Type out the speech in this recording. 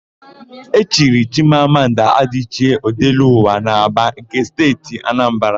E chiri Chimamanda Adịchie, Ọdelụwa n'Ábàa nke Steeti Anambara.